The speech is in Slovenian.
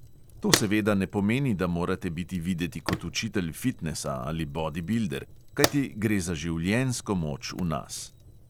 To seveda ne pomeni, da morate biti videti kot učitelj fitnesa ali bodibilder, kajti gre za življenjsko moč v nas.